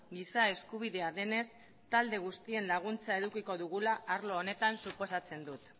giza eskubidea denez talde guztien laguntza edukiko dugula arlo honetan suposatzen dut